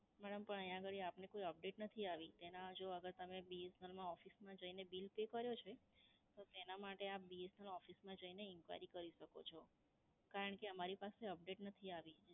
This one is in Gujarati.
madam પણ અહીયાં આગળી આપની કોઈ update નથી આવી. એમાં જો અગર તમે BSNL નાં office માં જઈને bill pay કર્યો છે, તો તેનાં માટે આપ BSNL ઓફિસમાં જઈને inquiry કરી શકો છો, કારણ કે અમારી પાસે update નથી આવી.